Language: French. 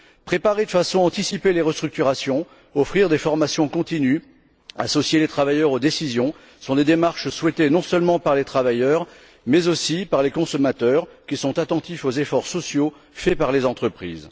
Préparer de façon anticipée les restructurations, offrir des formations continues, associer les travailleurs aux décisions sont des démarches souhaitées non seulement par les travailleurs, mais aussi par les consommateurs, qui sont attentifs aux efforts sociaux faits par les entreprises.